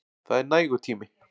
Það er nægur tími.